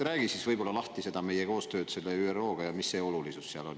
Räägi natuke lahti, miks meie koostöö ÜRO-ga on oluline.